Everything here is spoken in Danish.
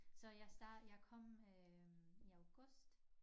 Så jeg jeg kom øh i august